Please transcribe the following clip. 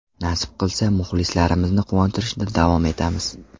Nasib qilsa, muxlislarimizni quvontirishda davom etamiz.